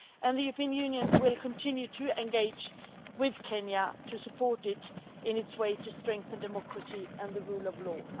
The European Union will continue to engage with Kenya to support it in its path to strengthen democracy and the rule of law.